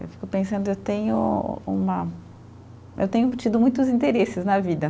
Eu fico pensando, eu tenho uma, eu tenho tido muitos interesses na vida.